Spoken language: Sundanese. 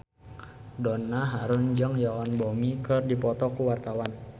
Donna Harun jeung Yoon Bomi keur dipoto ku wartawan